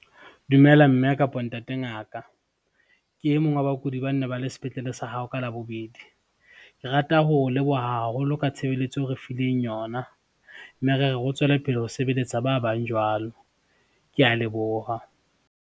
Dumela mme kapo ntate ngaka, ke e mong wa bakudi ba ne ba le sepetlele sa hao ka Labobedi, ke rata ho o leboha haholo ka tshebeletso eo re fileng yona, mme re re o tswele pele ho sebeletsa ba bang jwalo. Ke a leboha.